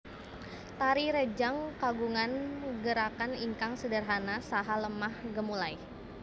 Tari rejang kagungan gerakan ingkang sederhana saha lemah gemulai